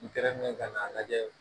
N kɛrɛ kan k'a lajɛ